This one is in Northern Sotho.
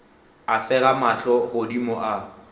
a fega mahlo godimo a